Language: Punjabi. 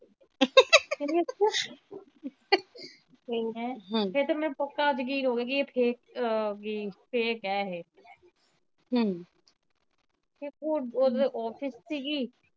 ਫਿਰ ਤੇ ਮੈਨੂੰ ਪੱਕਾ ਜ਼ਕੀਨ ਹੋਗਿਆ ਕੇ ਇਹ fake ਆ ਹੇਗੀ fake ਆ ਇਹ ਹੁਣ ਓਦੇ ਤਾ office ਸੀ ਗੀ।